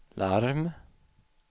larm